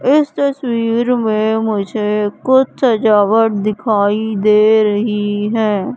इस तस्वीर में मुझे कुछ सजावट दिखाई दे रही हैं।